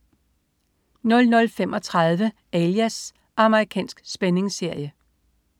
00.35 Alias. Amerikansk spændingsserie